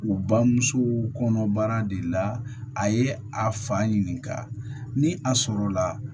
U bamuso kɔnɔ baara de la a ye a fa ɲininka ni a sɔrɔ la